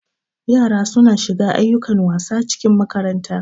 Yara suna shiga ayyukan wasa acikin makaranta.